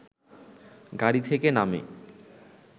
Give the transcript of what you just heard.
গাড়ি থেকে নামে